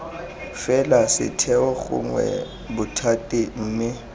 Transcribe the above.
fela setheo gongwe bothati mme